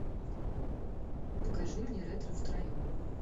покажи мне ретро втроем